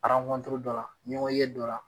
dɔ la ɲɔgɔnye dɔ la.